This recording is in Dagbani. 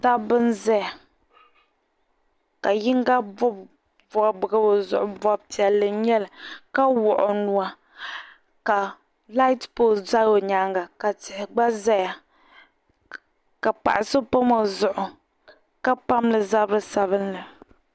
Dabba n-za ka yiŋga bɔbi bɔbiga o zuɣu ni bɔbu piɛlli n-nyɛli ka wuɣi o nua ka "light pole" za o nyaaŋa ka tihi gba zaya ka paɣa so pam o zuɣu ka pam li zabi sabinli.